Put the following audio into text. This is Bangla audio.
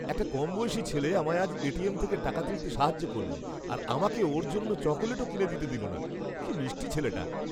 একটা কমবয়সী ছেলে আমায় আজ এটিএম থেকে টাকা তুলতে সাহায্য করলো আর আমাকে ওর জন্য চকোলেটও কিনে দিতে দিল না। কি মিষ্টি ছেলেটা!